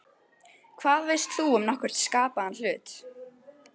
Hvað veist þú um nokkurn skapaðan hlut!?